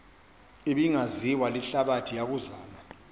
ebingaziwa lihlabathi yokuzama